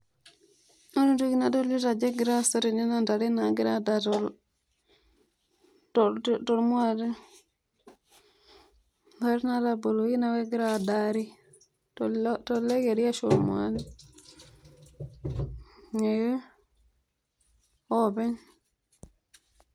ore entoki nadolita ajo egira aasa tene nss ntare naagira adaa, tolmuaate intare nataboluoki neeake kegira aadari tolokeri ashu tolmuaate oopeny.